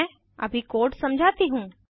मैं अभी कोड समझाती हूँ